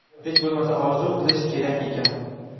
hech bo‘lmasa orzu qilish kerak ekan.